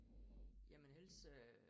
Jamen ellers øh